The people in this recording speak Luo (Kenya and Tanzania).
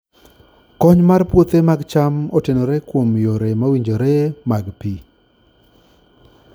Kony mar puothe mag cham otenore kuom yore mowinjore mag pi.